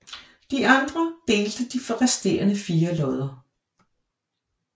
De andre delte de resterende fire lodder